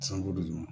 Sanukolo duguma